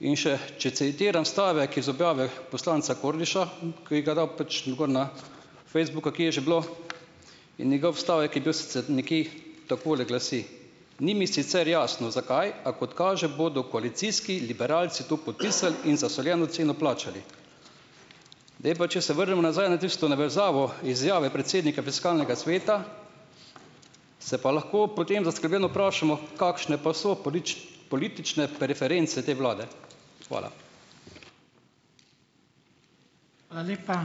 In še, če citiram stavek iz objave poslanca Kordiša, ki ga je dal pač gor na Facebook, ali kaj je že bilo, in njegov stavek je bil neke takole glasi: "Ni mi sicer jasno, zakaj, a kot kaže, bodo koalicijski liberalci to podpisali in zasoljeno ceno plačali." Zdaj pa, če se vrnem nazaj na tisto navezavo izjave predsednika fiskalnega sveta, se pa lahko potem zaskrbljeno vprašamo, kakšne pa so politične preference te vlade. Hvala. Hvala lepa.